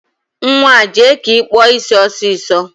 Nwaa, jee ka ị kpụọ isi ọsịsọ